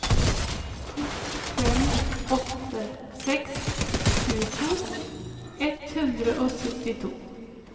to fem åtte seks tjueto ett hundre og syttito